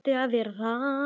Eða ætti að vera það.